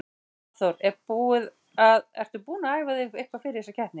Hafþór: Er búið að, ertu búin að æfa þig eitthvað fyrir keppnina?